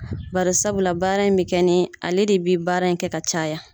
Bar sabula baara in bɛ kɛ nin ale de bɛ baara in kɛ ka caya